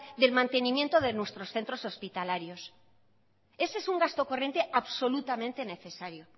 del mantenimiento de nuestros centros hospitalarios ese es un gasto corriente absolutamente necesario